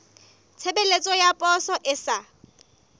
tshebeletso ya poso e sa